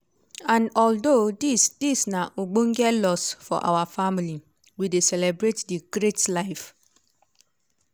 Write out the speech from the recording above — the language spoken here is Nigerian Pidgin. and although dis dis na ogbonge loss for our family we dey celebrate di great life